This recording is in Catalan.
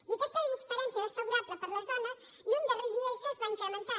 i aquesta diferència desfavorable per a les dones lluny de reduir se es va incrementant